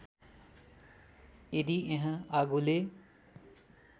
यदि यहाँ आगोले